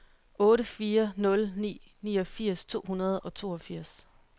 otte fire nul ni niogfirs to hundrede og toogfirs